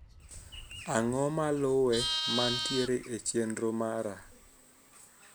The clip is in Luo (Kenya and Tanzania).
Ang'o maluwe mantiere e chenro mara